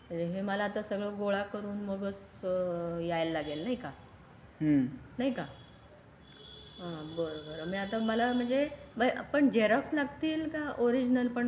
हे मला आता सगळं गोळा करून मगच यायला लागेल नाही का नाही का हा बरं बरं मी आता मला म्हणजे पण झरोक्स लागतील कि ओरिजिनल पण लागतील कि दोन्ही लागतील.